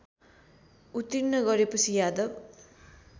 उत्तीर्ण गरेपछि यादव